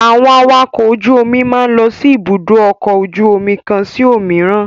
Àwọn awakọ̀ ojú-omi máa ń lọ sí Ibùdó-ọkọ̀ ojú-omi kan sí òmíràn.